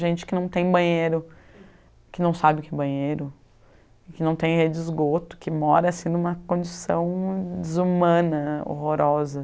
Gente que não tem banheiro, que não sabe o que é banheiro, que não tem rede de esgoto, que mora assim em uma condição desumana, horrorosa.